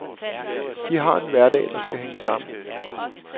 De har en hverdag, der skal hænge sammen.